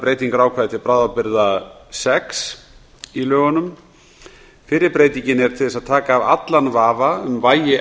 breytingar á ákvæði til bráðabirgða sex í lögunum fyrri breytingin er til að taka af allan vafa um vægi